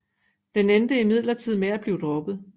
Den endte imidlertid med at blive droppet